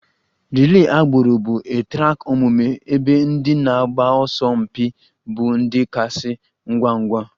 Relay agbụrụ bụ a track omume ebe ndị na-agba ọsọ mpi ịbụ ndị kasị ngwa ngwa